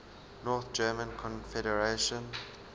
north german confederation